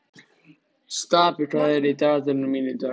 Stapi, hvað er í dagatalinu mínu í dag?